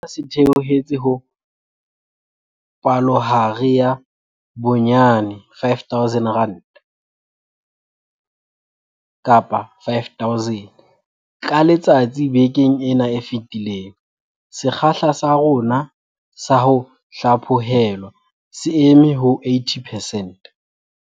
Sena se theohetse ho palohare ya bonyane 5 000 ka letsatsi bekeng ena e fetileng. Sekgahla sa rona sa ho hlaphohelwa se eme ho 80 percent.